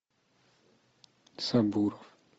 сабуров